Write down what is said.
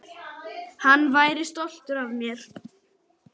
Hann væri stoltur af mér.